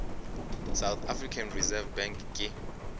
south african reserve bank ke